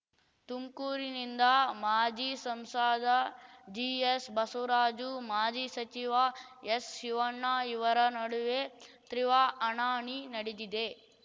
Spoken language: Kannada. ತುಮ್ಕೂರಿನಿಂದ ಮಾಜಿ ಸಂಸದ ಜಿಎಸ್ ಬಸವರಾಜು ಮಾಜಿ ಸಚಿವ ಎಸ್ ಶಿವಣ್ಣ ಇವರ ನಡುವೆ ತ್ರಿವಾ ಹಣಾಹಣಿ ನಡೆದಿದೆ